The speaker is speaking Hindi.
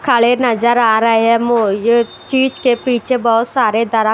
खड़े नजर आ रहे हैं चीज के पीछे बहुत सारे दर --